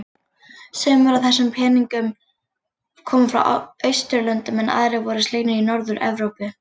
Sumir af þessum peningnum koma frá Austurlöndum en aðrir voru slegnir í Norður-Evrópu.